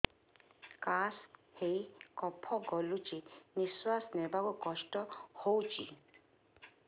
କାଶ ହେଇ କଫ ଗଳୁଛି ନିଶ୍ୱାସ ନେବାକୁ କଷ୍ଟ ହଉଛି